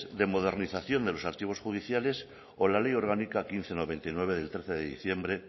de modernización de los archivos judiciales o la ley orgánica quince barra noventa y nueve del trece de diciembre